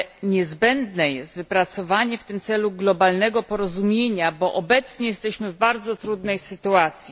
Niezbędne jest wypracowanie w tym celu globalnego porozumienia, bo obecnie jesteśmy w bardzo trudnej sytuacji.